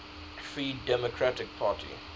free democratic party